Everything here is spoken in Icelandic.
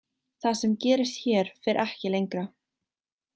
Það sem gerist hér fer ekki lengra.